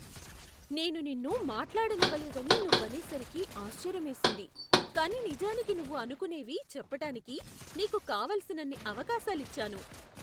నేను నిన్ను మాట్లాడనివ్వలేదని నువ్వనేసరికి ఆశ్చర్యమేసింది, కానీ నిజానికి నువ్వు అనుకునేవి చెప్పటానికి నీకు కావలసినన్ని అవకాశాలిచ్చాను.